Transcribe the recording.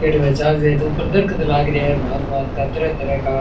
ऊपर दरखत लागरे हो भांत भांत का तरह तरह का।